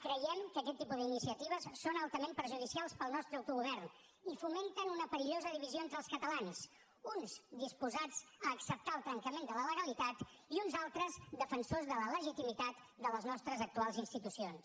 creiem que aquest tipus d’iniciatives són altament perjudicials per al nostre autogovern i fomenten una perillosa divisió entre els catalans uns disposats a acceptar el trencament de la legalitat i uns altres defensors de la legitimitat de les nostres actuals institucions